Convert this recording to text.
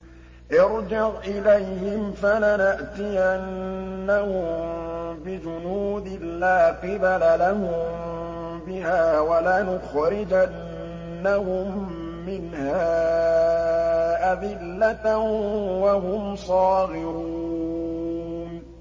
ارْجِعْ إِلَيْهِمْ فَلَنَأْتِيَنَّهُم بِجُنُودٍ لَّا قِبَلَ لَهُم بِهَا وَلَنُخْرِجَنَّهُم مِّنْهَا أَذِلَّةً وَهُمْ صَاغِرُونَ